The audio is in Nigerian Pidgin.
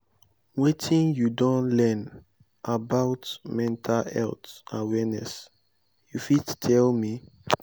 wetin you don learn about mental health awareness you fit tell tell me?